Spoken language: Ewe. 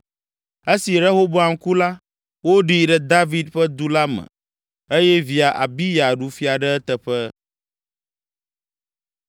Esi Rehoboam ku la, woɖii ɖe David ƒe du la me eye via Abiya ɖu fia ɖe eteƒe.